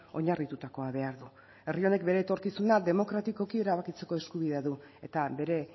oinarritutakoa behar du herri honek bere etorkizuna demokratikoki erabakitzeko eskubidea du eta bere